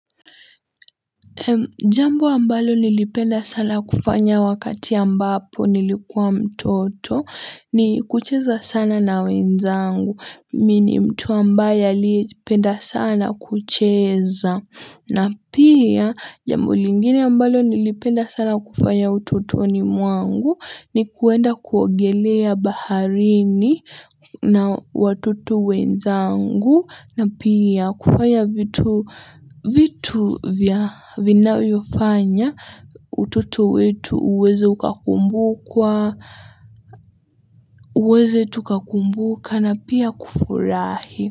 Jambo ambalo nilipenda sana kufanya wakati ambapo nilikuwa mtoto ni kucheza sana na wenzangu. Mimi ni mtu ambaye aliyependa sana kucheza. Na pia jambo lingine ambalo nilipenda sana kufanya utotoni mwangu ni kuenda kuogelea baharini na watoto wenzangu na pia kufanya vitu vinayofanya utoto wetu uweze tukakumbuka na pia kufurahi.